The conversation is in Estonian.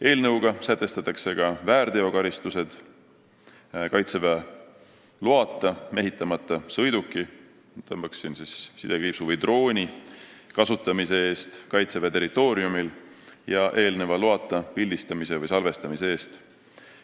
Eelnõuga sätestatakse ka väärteokaristused Kaitseväe loata mehitamata sõiduki või drooni kasutamise eest Kaitseväe territooriumil ja eelneva loata pildistamise või salvestamise eest.